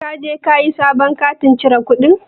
Ka je kayi sabon katin cire kuɗin?